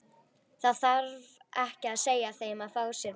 Það þarf ekki að segja þeim að fá sér meira.